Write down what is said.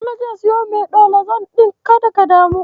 Sule zai siyo Metolazon ɗin, kada ka damu.